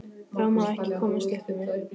Það má ekki komast upp um mig.